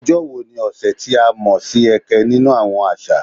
"Ojo wo ni ọsẹ ti a mọ si "Eke" ninu awọn aṣa?"